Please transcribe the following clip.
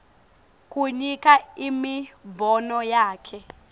kunika imibono yakhe